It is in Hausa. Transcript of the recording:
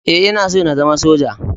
E, Ina so na zama Soja.